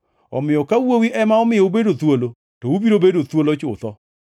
Omiyo ka Wuowi ema omiyo ubedo thuolo, to ubiro bedo thuolo chutho.